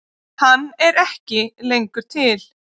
Er hann ekki lengur til?